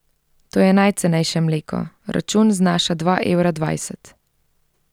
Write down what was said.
To je najcenejše mleko, račun znaša dva evra dvajset.